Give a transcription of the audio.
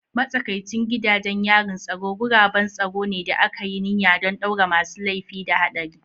Matsakaicin gidajen yarin tsaro guraben tsaro ne da aka yi niyya don ɗaure masu laifi da haɗari.